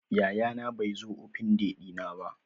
Yayana bai zo Open day dina ba.